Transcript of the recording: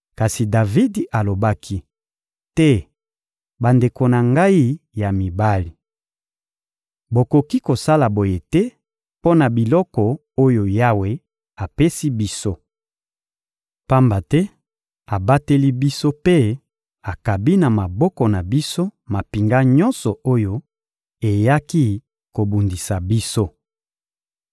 Kasi Davidi alobaki: — Te, bandeko na ngai ya mibali! Bokoki kosala boye te mpo na biloko oyo Yawe apesi biso! Pamba te abateli biso mpe akabi na maboko na biso mampinga nyonso oyo eyaki kobundisa biso.